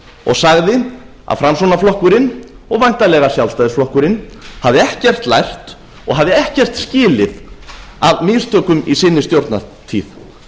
og sagði að framsóknarflokkurinn og væntanlega sjálfstæðisflokkurinn hefði ekkert lært og hafi ekkert skilið af mistökum í sinni stjórnartíð